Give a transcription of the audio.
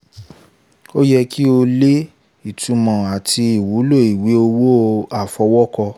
ó yẹ kí o lè: ìtúmọ̀ àti ìwúlò ìwé owó àfọwọ́kọ